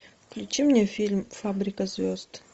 включи мне фильм фабрика звезд